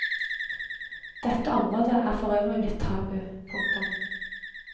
Dette område er forøvrig blitt tabu. punktum